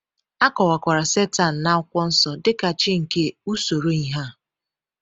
A kọwakwara Setan n’Akụkwọ Nsọ dị ka “chi nke usoro ihe a.”